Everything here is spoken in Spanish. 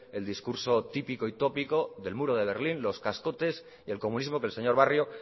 el discurso típico y tópico del muro de berlín los cascotes y el comunismo que el señor barrio